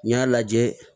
N y'a lajɛ